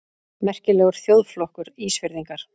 Merkilegur þjóðflokkur, Ísfirðingar!